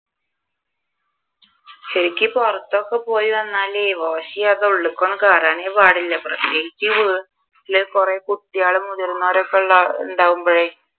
ശരിക്കും ഒക്കെ പുറത്തു ഒക്കെ പോയി വന്നാൽ wash ചെയാതെ ഉള്ളിലേക്ക് ഒന്നും കേറാനെ പാടില്ല പ്രത്യേകിച്ച് വീട്ടിൽ കുറെ കുട്ടികളും മുതിർന്നവരും ഒക്കെ ഉള്ളത് ഉണ്ടാകുമ്പോഴേ